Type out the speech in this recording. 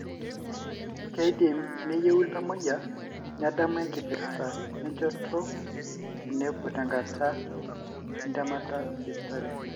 kindim neyieu iltamoyiak nedamu enkipirta enchoto tenepuo tenkata etemata esipitali.